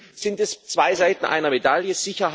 Deswegen sind es zwei Seiten einer Medaille.